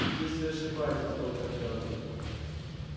здесь вы ошибаетесь доктор кэлвин